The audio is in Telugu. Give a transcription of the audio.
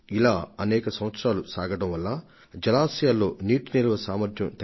ఇంకా అథమమైన విషయం ఏమిటంటే ఇదే చక్రభ్రమణం ఏళ్ల తరబడి కొనసాగుతూ ఉండటం